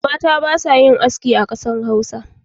Mata ba sa yin aski a kasar Hausa.